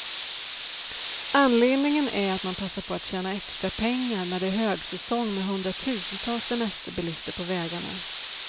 Anledningen är att man passar på att tjäna extra pengar, när det är högsäsong med hundratusentals semesterbilister på vägarna.